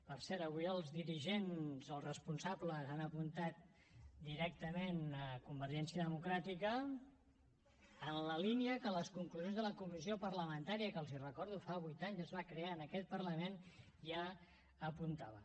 per cert avui els dirigents els responsables han apuntat directament a convergència democràtica en la línia que les conclusions de la comissió parlamentària que els hi recordo fa vuit anys es va crear en aquest parlament ja apuntava